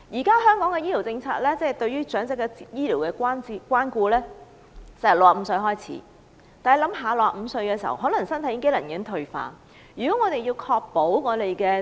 根據香港現時的醫療政策，對長者的醫療關顧由65歲開始，但65歲的人士身體機能可能已經退化。